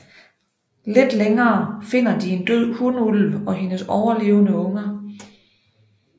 Lidt længere finder de en død hunulv og hendes overlevende unger